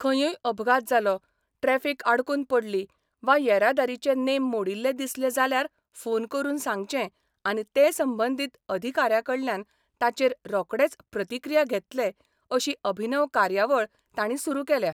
खंयूय अपघात जालो, ट्रैफिक आडकून पडली वा येरादारीचे नेम मोडिल्ले दिसले जाल्यार फोन करून सांगचे आनी ते संबंदीत अधिकाऱ्यांकडल्यान ताचेर रोकडेच प्रतिक्रिया घेतले अशी अभिनव कार्यावळ तांणी सुरू केल्या.